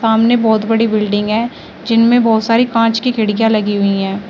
सामने बहुत बड़ी बिल्डिंग है जिनमें बहोत सारी कांच की खिड़कियां लगी हुई है।